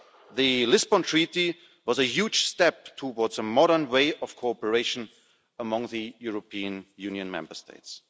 The Lisbon Treaty was a huge step towards a modern way of cooperation among the European Union Member States.